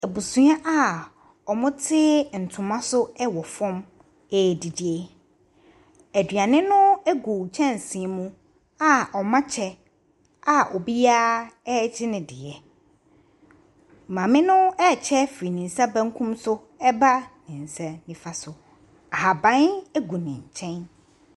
Abusua a wɔte ntoma so wɔ fam redidi. Aduane no gu kyɛnse mu a wɔakyɛ a obiara regye ne deɛ. Maame no rekyerɛ firi ne nsa benkum so ba ne nsa nifa so. Ahaban gu ne nkyɛn.